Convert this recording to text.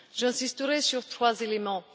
J'insisterai sur trois éléments.